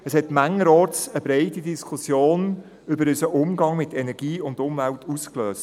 Es löste mancherorts eine breite Diskussion über unseren Umgang mit Energie und Umwelt aus.